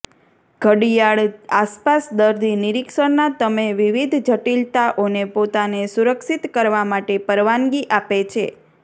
ઘડિયાળ આસપાસ દર્દી નિરીક્ષણના તમે વિવિધ જટિલતાઓને પોતાને સુરક્ષિત કરવા માટે પરવાનગી આપે છે